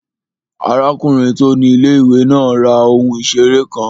Arákùnrin tó ni ilé-ìwé náà ra ohun ìseré kan